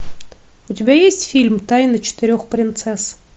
у тебя есть фильм тайны четырех принцесс